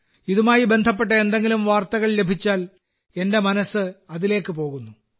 ഇതുമായി ബന്ധപ്പെട്ട എന്തെങ്കിലും വാർത്തകൾ ലഭിച്ചാൽ എന്റെ മനസ്സ് അതിലേക്ക് പോകുന്നു